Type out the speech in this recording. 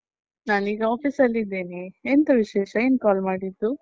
ನಾನೀಗ office ನಲ್ಲಿದ್ದೇನೆ ಎಂತ ವಿಶೇಷ, ಏನ್ call ಮಾಡಿದ್ದು?